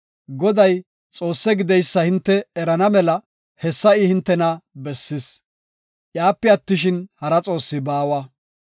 Goday, Xoosse gideysa hinte erana mela hessa I hintena bessis; iyape attishin, hara xoossi baawa.